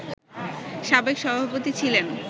সাবেক সভাপতি ছিলেন